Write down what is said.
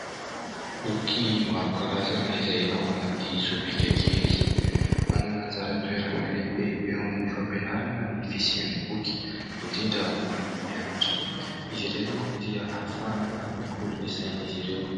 Boky maro karazana izay ao anaty sobika kely. Manana anjara toerana lehibe eo amin'ny fampianarana ny fisian'ny boky indrindra ho an'ny mpianatra. Izy ireny manko dia ahafahana mikolo ny saina izy ireo.